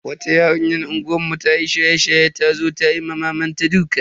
Wata yarinya a unguwar mu ta yi shaye-shaye ta zo ta ma mamanta duka.